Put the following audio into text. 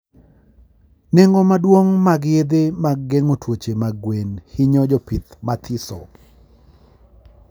Nengo maduong mag yedhe mag gengo tuoche mag gwen hinyo jpih mathiso